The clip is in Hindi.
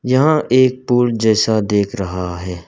यहां एक पुल जैसा देख रहा है।